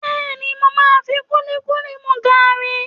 Bẹ́ẹ̀ni, mo máa fi kúlíkúlí mú gààrí